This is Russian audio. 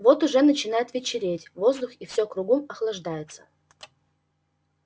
вот уже начинает вечереть воздух и все кругом охлаждается